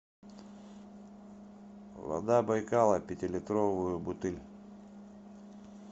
вода байкала пятилитровую бутыль